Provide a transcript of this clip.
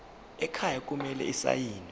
ekhaya kumele asayiniwe